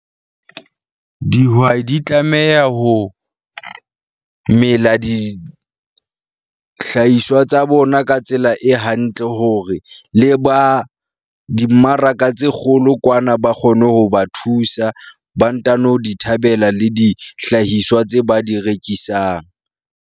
Dihwai di tlameha ho, mela dihlahiswa tsa bona ka tsela e hantle, hore e le ba dimmaraka tse kgolo kwana ba kgone ho ba thusa, ba ntano di thabela le dihlahiswa tse ba di rekisang.